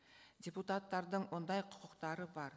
депутаттардың ондай құқықтары бар